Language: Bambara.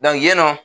yen nɔ